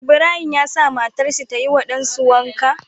Ibrahim ya sa matar shi tayi wa ɗan su wanka